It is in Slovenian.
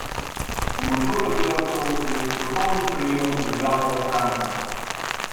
S pomočjo sodelavcev je s strokovnim prijemom obvladal Franka.